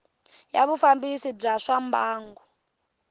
ya vufambisi bya swa mbangu